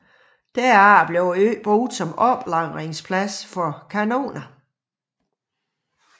Derefter blev øen brugt som oplagringsplads for kanoner